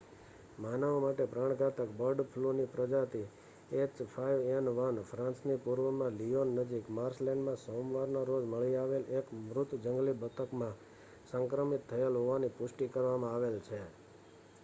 માનવો માટે પ્રાણઘાતક બર્ડ ફ્લુની પ્રજાતિ h5n1 ફ્રાન્સની પૂર્વમાં લિયોન નજીક માર્શલેન્ડમાં સોમવારના રોજ મળી આવેલ એક મૃત જંગલી બતકમાં સંક્રમિત થયેલ હોવાની પુષ્ટિ કરવામાં આવેલ છે